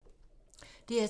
DR2